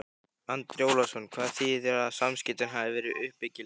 Andri Ólafsson: Hvað þýðir að samskiptin hafi verið uppbyggileg?